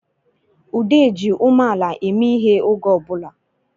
Ude ji umeala eme ihe oge ọbụla